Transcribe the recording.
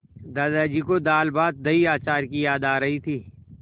दादाजी को दालभातदहीअचार की याद आ रही थी